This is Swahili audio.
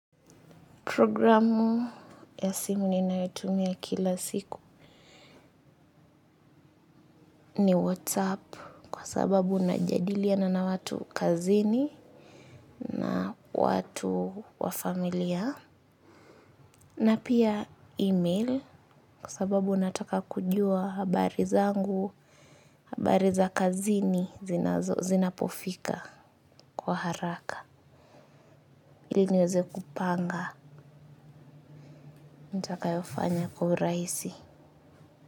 Programu ya simu ninayotumia kila siku ni WhatsApp kwa sababu unajadiliana na watu kazini na watu wa familia na pia email kwa sababu unataka kujua habari zangu, habari za kazini zinapofika kwa haraka ili niweze kupanga nitakayofanya kuburaisi.